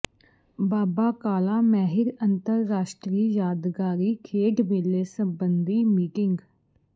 ਬਾਬਾ ਕਾਲਾ ਮੈਹਿਰ ਅੰਤਰਰਾਸ਼ਟਰੀ ਯਾਦਗਾਰੀ ਖੇਡ ਮੇਲੇ ਸੰਬੰਧੀ ਮੀਟਿੰਗ